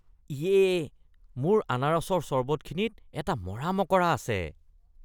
ইয়ে! মোৰ আনাৰসৰ চৰবতখিনিত এটা মৰা মকৰা আছে।